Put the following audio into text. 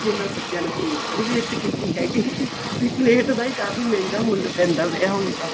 ਕਿ ਇਹਨਾ ਬੱਚਿਆ ਨੇ ਪਲੇਟ ਤਾਂ ਨਹੀਂ waste ਕੀਤੀ ਹੈਗੀ ਵੀ ਪਲੇਟ ਦਾ ਵੀ ਕਾਫ਼ੀ ਮਹਿੰਗਾ ਮੁੱਲ ਪੈਂਦਾ ਪਿਆਂ ਹੁਣ ਤਾਂ